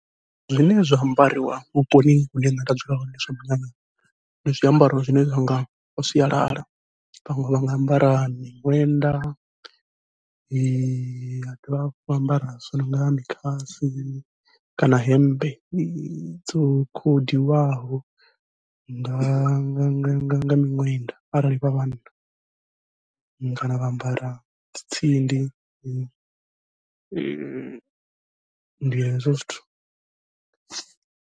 Zwine zwa ambariwa vhuponi hune nṋe nda dzula hone zwa munyanyani, ndi zwiambaro zwine zwa nga zwa sialala. Vhaṅwe vha nga ambara miṅwenda vha dovha hafhu vha ambara zwo nonga mikhasi, kana hemmbe dzo khodiwaho nga nga nga nga nga miṅwenda arali vha vhanna, kana vha ambara dzi tsindi ndi hezwo zwithu.